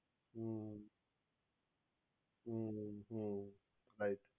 hmm hmm hmm right